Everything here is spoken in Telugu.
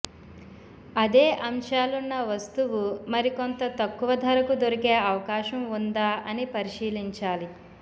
అదే అంశాలున్న వస్తువు మరికొంత తక్కువ ధరకు దొరికే అవకాశం ఉందా అని పరిశీలించాలి